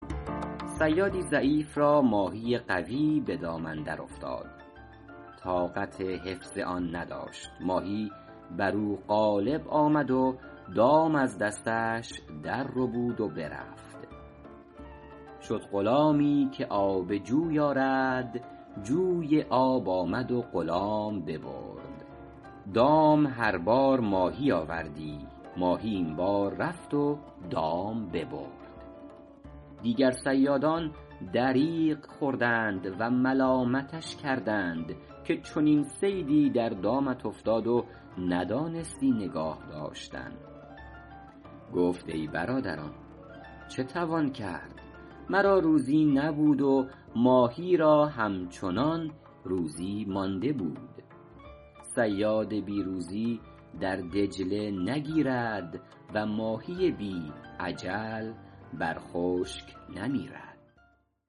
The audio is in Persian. صیادی ضعیف را ماهی قوی به دام اندر افتاد طاقت حفظ آن نداشت ماهی بر او غالب آمد و دام از دستش در ربود و برفت شد غلامی که آب جوی آرد جوی آب آمد و غلام ببرد دام هر بار ماهی آوردی ماهی این بار رفت و دام ببرد دیگر صیادان دریغ خوردند و ملامتش کردند که چنین صیدی در دامت افتاد و ندانستی نگاه داشتن گفت ای برادران چه توان کردن مرا روزی نبود و ماهی را همچنان روزی مانده بود صیاد بی روزی در دجله نگیرد و ماهی بی اجل بر خشک نمیرد